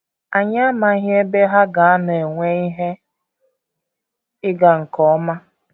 Anyị amaghị ebe ha ga - anọ enwe ihe ịga nke ọma.